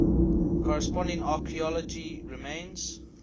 corresponding archaeology remains